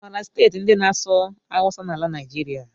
I maara steeti ndị na-asụ awụsa n'ala Naijiria?